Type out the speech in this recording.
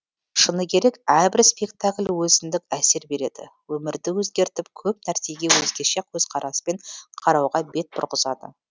шыны керек әрбір спектакль өзіндік әсер береді өмірді өзгертіп көп нәрсеге өзгеше көзқараспен қарауға бет бұрғызады